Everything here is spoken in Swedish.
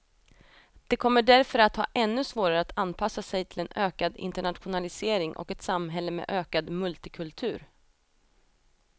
De kommer därför att ha ännu svårare att anpassa sig till en ökad internationalisering och ett samhälle med ökad multikultur.